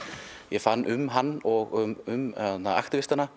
ég fann um hann og um